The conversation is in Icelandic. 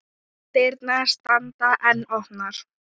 Dyrnar standa enn opnar.